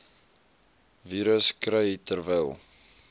virus kry terwyl